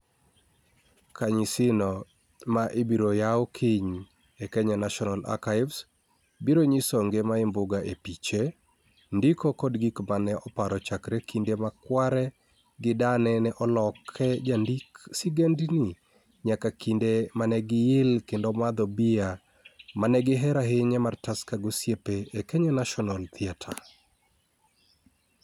Kanyisino, ma ibiro yaw kiny e Kenya National Archives, biro nyiso ngima Imbuga e piche, ndiko kod gik ma ne oparo chakre kinde ma kware gi dane ne oloke jandik sigendini nyaka kinde ma ne giil kendo madho bia ma ne gihero ahinya mar Tusker gi osiepe e Kenya National Theatre.